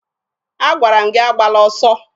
Agwara m gị agbala ọsọ!